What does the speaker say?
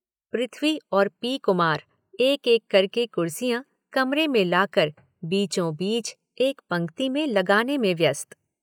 पृथ्वी और पी कुमार एक एक करके कुर्सियाँ कमरे में लाकर बीचों बीच एक पंक्ति में लगाने में व्यस्त।